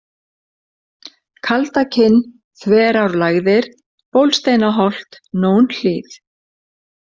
Kaldakinn, Þverárlægðir, Bólsteinaholt, Nónhlíð